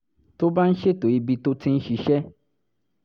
tó bá ń ṣètò ibi tó ti ń ṣiṣẹ́